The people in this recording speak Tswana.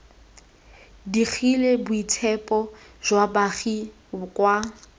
digile boitshepo jwa baagi kwa